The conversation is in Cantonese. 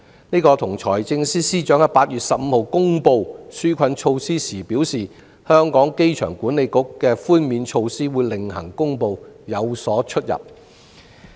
這與財政司司長在8月15日公布紓困措施時表示，機管局會另行公布寬免措施有所出入。